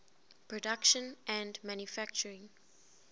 production and manufacturing